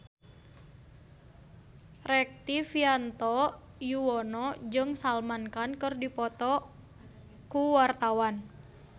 Rektivianto Yoewono jeung Salman Khan keur dipoto ku wartawan